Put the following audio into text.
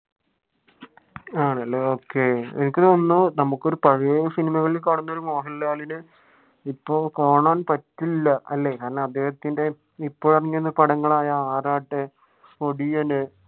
ആണല്ലേ okay എനിക്ക് തോന്നുന്നു നമുക്ക് ഒരു പഴയെ സിനിമകളിൽ കാണുന്ന ഒരു മോഹൻലാലിന്റെ ഇപ്പൊ കാണാൻ പറ്റില്ല അല്ലെ ഞാൻ അദ്ദേഹത്തിന്റെ ഇപ്പൊ ഇറങ്ങിയ പടങ്ങളായാ ആറാട്ട്